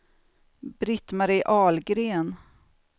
Britt-Marie Ahlgren